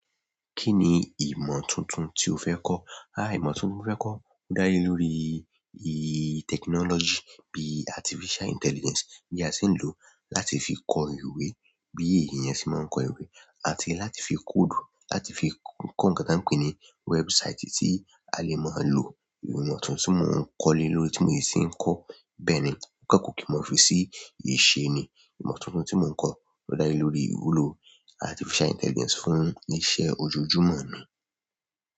Kí ni ìmọ̀ tuntun tí o fẹ́ kọ́? Ìmọ̀ tuntun mo fẹ́ kọ́ ń dá lé lórí, i, technology bí artificial intelligence bí a ṣe ń lò láti fi kọ ìwé, bí èyí yẹn ṣe máa ń kọ ìwé àti láti fi code, láti fi kọ ǹkan tí a ń pè ní website tí a lè mọ̀ máa lò. Ìmọ̀ tuntun tí mò ń kọ́ lé lórí tí mò yí ṣe ń kọ́. Bẹ́ẹ̀ ni, kókó kí mò fi ṣí ìṣe ni ìmọ̀ tuntun tí mò ń kọ́ ó dá lé lórí ìwúlò artificial intelligence fún iṣẹ́ ojoojúmọ́ mi.